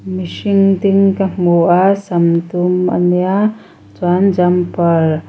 mihring ding ka hmu a sam dum a nia chuan jumper --